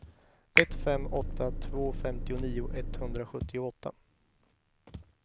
ett fem åtta två femtionio etthundrasjuttioåtta